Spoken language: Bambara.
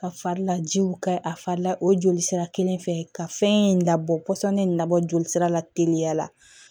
Ka fari lajiw ka a fari la o joli sira kelen fɛ ka fɛn in labɔ pɔsɔni labɔ jolisira la teliya la